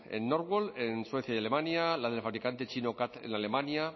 en northvolt en suecia y alemania la del fabricante chino catl en alemania